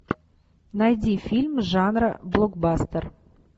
найди фильм жанра блокбастер